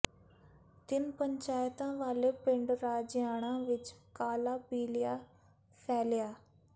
ਤਿੰਨ ਪੰਚਾਇਤਾਂ ਵਾਲੇ ਪਿੰਡ ਰਾਜੇਆਣਾ ਵਿੱਚ ਕਾਲਾ ਪੀਲੀਆ ਫੈਲਿਆ